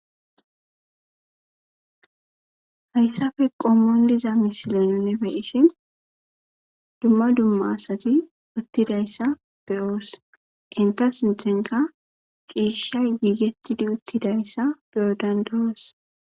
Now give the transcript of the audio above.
hayssafe qommon diza misileninne beishin dumma dumma asati uttidayssa beyoos inta sinthenka ciishsha giigettidi uttidayssa be7odandoos